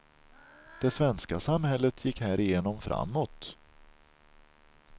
Det svenska samhället gick härigenom framåt.